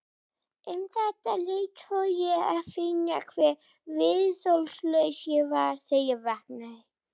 Um þetta leyti fór ég að finna hve viðþolslaus ég var þegar ég vaknaði.